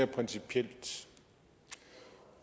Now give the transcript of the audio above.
principielt